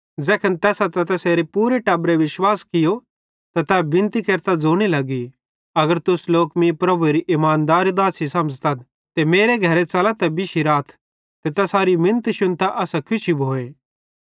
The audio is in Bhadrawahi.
ज़ैखन तैसां ते तैसारे पूरे टब्बरे बपतिस्मो नीयो त तै बिनती केरतां ज़ोने लगी अगर तुस लोक मीं प्रभुएरी इमानदार दासी समझ़तथ त मेरे घरे च़ला ते बिश्शी राथ ते तैसारी मिनत शुन्तां असां खुशी भोए